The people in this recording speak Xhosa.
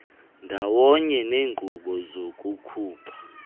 ndawonye neenkqubo zokukhupha